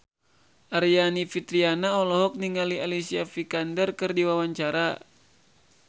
Aryani Fitriana olohok ningali Alicia Vikander keur diwawancara